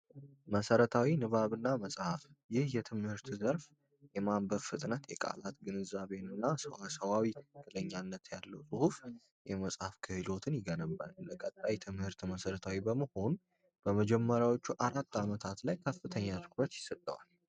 መሰረታዊ ንባብና መጻፍ ይህ የትምህርት ዘርፍ የማንበብ ፍጥነት፣ የቃላት ግንዛቤንና ሰዋዊነት ጥገኝነት ያለው ጽሁፍ የመጽሐፍ ክህሎትን ይገነባል። በቀጣይ ትምህርት መሠረታዊ በመሆን በመጀመሪያዎቹ 4 ዓመታት ላይ ከፍተኛ ትኩረት ይሰጠዋል።